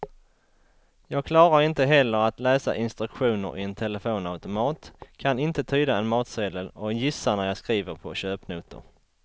Jag klarar inte heller att läsa instruktioner i en telefonautomat, kan inte tyda en matsedel och gissar när jag skriver på köpnotor.